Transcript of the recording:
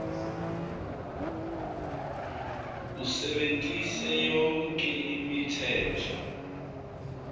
usebentise yonkhe imitsetfo